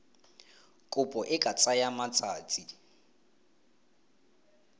kopo e ka tsaya matsatsi